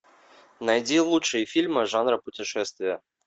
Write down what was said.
найди лучшие фильмы жанра путешествия